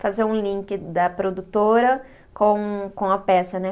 Fazer um link da produtora com com a peça, né?